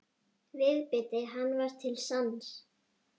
Viðbiti hann var til sanns.